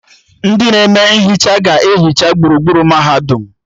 Ndị na-eme nhicha ga-ehicha gburugburu mahadum